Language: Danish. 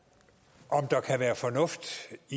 om der kan være fornuft